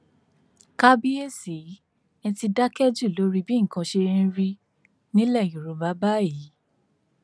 kábíìsì ẹ ti dákẹ jù lórí bí nǹkan ṣe ń rí nílẹ yorùbá báyìí